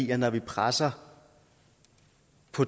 at når vi presser